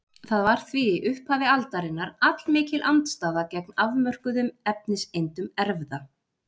Það var því í upphafi aldarinnar allmikil andstaða gegn afmörkuðum efniseindum erfða.